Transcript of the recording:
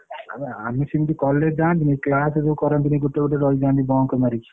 ଆରେ ଆମେ ସେମିତି college ଯାଅନ୍ତେନି class କରନ୍ତେନି ଗୋଟେ ଗୋଟେ ରହିଯାନ୍ତି bunk ମାରିକି।